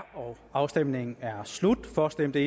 afstemningen er slut for stemte